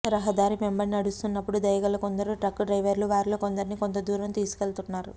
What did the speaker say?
రహదారి వెంబడి నడుస్తున్నప్పుడు దయగల కొందరు ట్రక్కు డ్రైవర్లు వారిలో కొందరిని కొంత దూరం తీసుకెళుతున్నారు